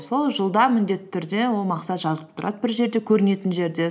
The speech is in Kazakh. сол жылда міндетті түрде ол мақсат жазылып тұрады бір жерде көрінетін жерде